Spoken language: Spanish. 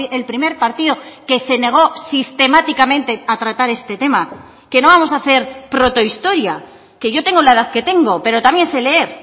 el primer partido que se negó sistemáticamente a tratar este tema que no vamos a hacer protohistoria que yo tengo la edad que tengo pero también sé leer